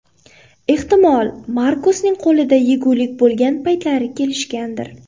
Ehtimol, Markosning qo‘lida yegulik bo‘lgan paytlari kelishgandir.